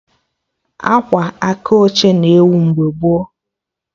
Akwa aka oche na-ewu mgbe gboo